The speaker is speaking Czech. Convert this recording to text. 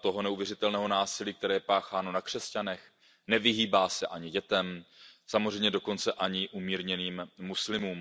to neuvěřitelné násilí, které je pácháno na křesťanech a nevyhýbá se ani dětem, samozřejmě dokonce ani umírněným muslimům.